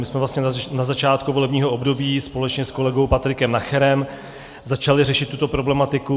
My jsme vlastně na začátku volebního období společně s kolegou Patrikem Nacherem začali řešit tuto problematiku.